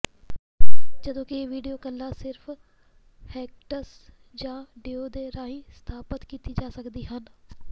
ਜਦੋਂ ਕਿ ਵੀਡੀਓ ਕਾਲਾਂ ਸਿਰਫ ਹੈਂਗਟਸ ਜਾਂ ਡੁਓ ਦੇ ਰਾਹੀਂ ਸਥਾਪਤ ਕੀਤੀਆਂ ਜਾ ਸਕਦੀਆਂ ਹਨ